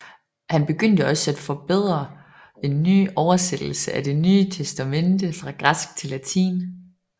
Han begyndte også at forberede en ny oversættelse af Det Nye Testamente fra græsk til latin